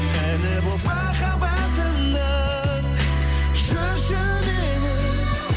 әні болып махаббатымның жүрші менің